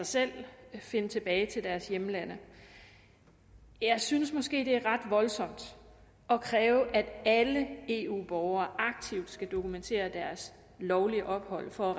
selv kan finde tilbage til deres hjemlande jeg synes måske det er ret voldsomt at kræve at alle eu borgere aktivt skal dokumentere deres lovlige ophold for at